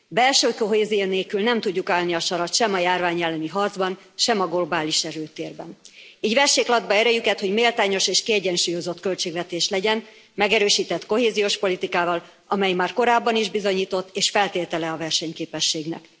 Belső kohézió nélkül nem tudjuk állni a sarat sem a járvány elleni harcban, sem a globális erőtérben. Így vessék latba erejüket, hogy méltányos és kiegyensúlyozott költségvetés legyen, megerősített kohéziós politikával, amely már korábban is bizonyított és feltétele a versenyképességnek.